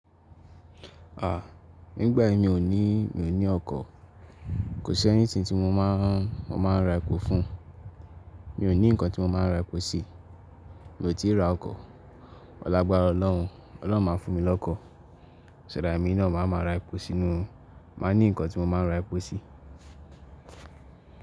Nigbayi mio ni, mi n ní ọkọ̀, kò sí anything tí mo máa ń mo máa ń ra epo fún, mi n ni ǹkan tí mo máa ń ra epo sí, mie ti ra ọkọ̀, pẹ̀lú agbára ọlọ́run, ọlọ́run máa fún mi lọ́kọ̀, so that èmi na má máa ra epo sínú màá ní ǹkan tí mo máa ń ra epo sí.